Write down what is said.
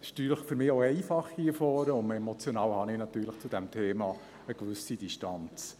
Es ist vielleicht für mich auch einfach hier vorne, denn emotional habe ich natürlich zu diesem Thema eine gewisse Distanz.